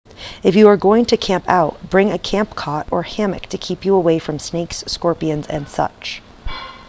if you are going to camp out bring a camp cot or hammock to keep you away from snakes scorpions and such